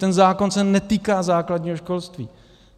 Ten zákon se netýká základního školství.